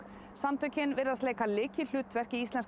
samtökin virðast leika lykilhlutverk í íslenska